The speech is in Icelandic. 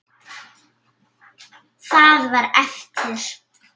Það var eftir.